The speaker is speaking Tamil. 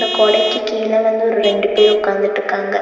கொடைக்கு கீழ வந்து ஒரு ரெண்டு பேர் உக்காந்துட்டுக்காங்க.